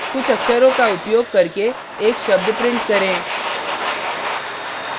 कुछ अक्षरों का उपयोग करके एक शब्द print करें